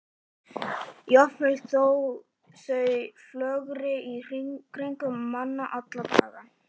Jafnvel þótt þau flögri í kringum mann alla daga.